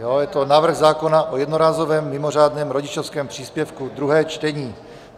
Je to návrh zákona o jednorázovém mimořádném rodičovském příspěvku, druhé čtení.